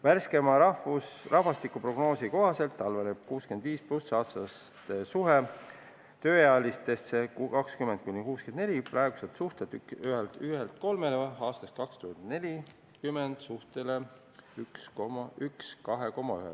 Värskeima rahvastikuprognoosi kohaselt halveneb üle 65-aastaste inimeste ja tööealiste suhe praeguselt suhtelt 1 : 3 aastaks 2040 suhtele 1 : 2,1.